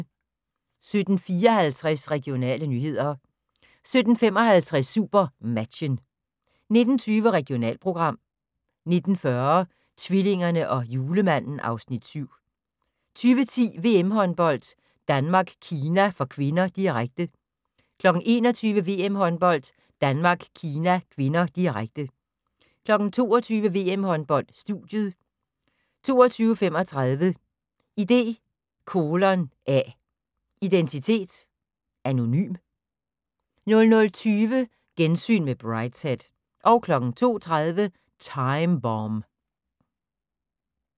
17:54: Regionale nyheder 17:55: SuperMatchen 19:20: Regionalprogram 19:40: Tvillingerne og Julemanden (Afs. 7) 20:10: VM-håndbold: Danmark-Kina (k), direkte 21:00: VM-håndbold: Danmark-Kina (k), direkte 22:00: VM-håndbold: Studiet 22:35: ID:A - identitet anonym 00:20: Gensyn med Brideshead 02:30: Time Bomb